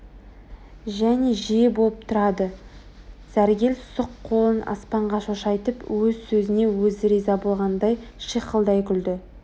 және жиі болып тұрады сәргел сұқ қолын аспанға шошайтып өз сөзіне өзі риза болғандай шиқылдай күлді